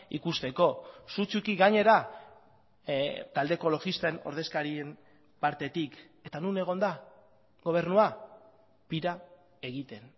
ikusteko sutsuki gainera talde ekologisten ordezkarien partetik eta non egon da gobernua pira egiten